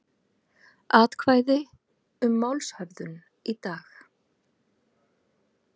Atkvæði um málshöfðun í dag